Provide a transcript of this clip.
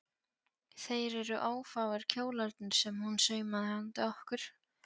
Þeir eru ófáir kjólarnir sem hún saumaði handa okkur